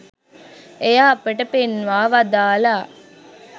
එය අපට පෙන්වා වදාළා